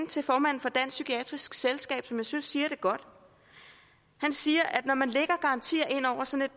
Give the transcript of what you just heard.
til formanden for dansk psykiatrisk selskab som jeg synes siger det godt han siger at når man lægger garantier ind over sådan